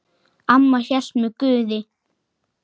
Amma hélt með Guði.